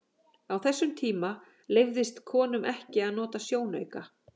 Á þessum tíma leyfðist konum ekki að nota sjónauka.